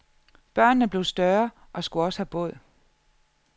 Børnene blev større og skulle også have båd.